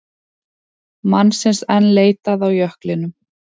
Mannsins enn leitað á jöklinum